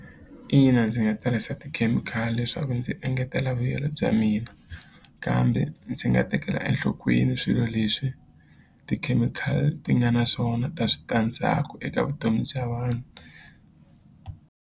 Ina ndzi nga tirhisa tikhemikhali leswaku ndzi engetela vuyelo bya mina kambe ndzi nga tekela enhlokweni swilo leswi tikhemikhali ti nga na swona ta switandzhaku eka vutomi bya vanhu.